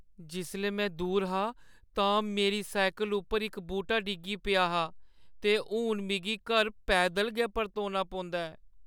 जिसलै में दूर हा तां मेरी साइकल उप्पर इक बूह्‌टा डिग्गी पेआ हा ते हून में घर पैदल गै परतोना पौंदा ऐ।